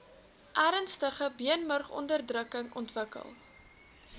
ernstige beenmurgonderdrukking ontwikkel